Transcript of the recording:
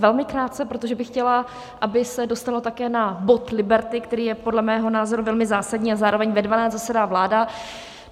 Velmi krátce, protože bych chtěla, aby se dostalo také na bod Liberty, který je podle mého názoru velmi zásadní, a zároveň ve 12 zasedá vláda.